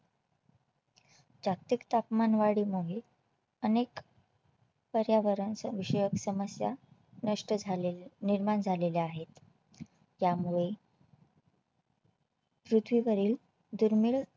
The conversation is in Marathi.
जागतिक तापमानवाढी महे अनेक पर्यावरण विषयक समस्या नष्ट झालेले निर्माण झालेल्या आहेत त्यामुळे पृथ्वीवरील दुर्मीळ